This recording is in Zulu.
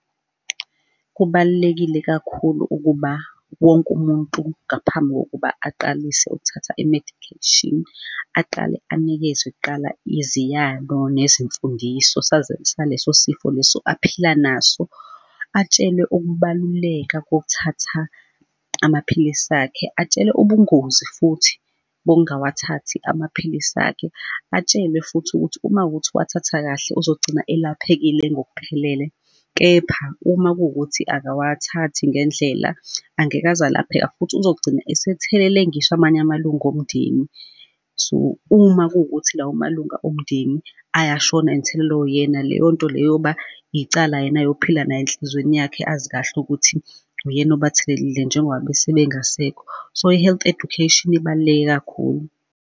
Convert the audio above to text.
Kubalulekile kakhulu ukuba wonke umuntu ngaphambi kokuba aqalise ukuthatha i-medication aqale anikezwe kuqala iziyalo nezimfundiso saleso sifo leso aphila naso, atshelwe ukubaluleka kokuthatha amaphilisi akhe, atshelwe ubungozi futhi bokungawathathi amaphilisi akhe, atshelwe futhi ukuthi uma kuwukuthi uwathatha kahle uzogcina elaphekile ngokuphelele. Kepha uma kuwukuthi akawathathi ngendlela angeke aze alapheka, futhi uzogcina esethelele ngisho amanye amalungu omndeni. So, uma kuwukuthi lawo malunga omndeni ayashona athelelwe uyena, leyo nto leyo, yoba icala yena ayophila nayo enhlizweni yakhe, azi kahle ukuthi uyena obathelelile, njengoba besebengasekho. So i-health education ibaluleke kakhulu.